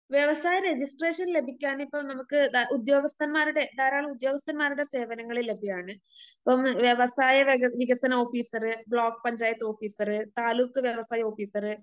വ്യവസായ രജിസ്ട്രേഷൻ ലഭിക്കാനിപ്പം നമുക്ക് ഉദ്യോഗസ്ഥന്മാരുടെ ധാരാളം ഉദ്യോഗസ്ഥന്മാരുടെ സേവനങ്ങള് ലഭ്യമാണ്.ഇപ്പം വ്യവസായ വക വികസന officer, block panchayat officer, taluk വ്യവസായ ഓഫീസറ്,